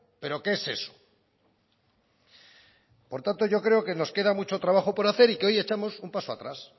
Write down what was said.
pero qué es eso por tanto yo creo que nos queda mucho trabajo por hacer y que hoy echamos un paso atrás